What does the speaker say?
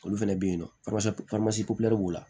Olu fɛnɛ be yen nɔ b'u la